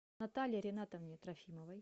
наталье ринатовне трофимовой